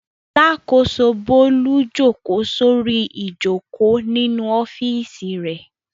Alákòóso Bólú jókòó sórí ìjókòó nínú ọ́fíísì rẹ̀.